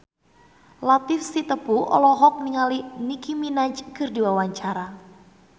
Latief Sitepu olohok ningali Nicky Minaj keur diwawancara